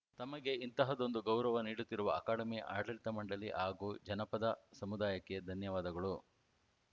ತಮಗೆ ಇಂತಹದ್ದೊಂದು ಗೌರವ ನೀಡುತ್ತಿರುವ ಅಕಾಡೆಮಿ ಆಡಳಿತ ಮಂಡಳಿ ಹಾಗೂ ಜನಪದ ಸಮುದಾಯಕ್ಕೆ ಧನ್ಯವಾದಗಳು